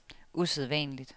usædvanligt